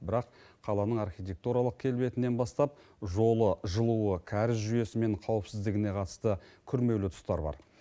бірақ қаланың архитектуралық келбетінен бастап жолы жылуы кәріз жүйесі мен қауіпсіздігіне қатысты күрмеулі тұстар бар